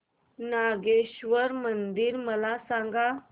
नागेश्वर मंदिर मला सांग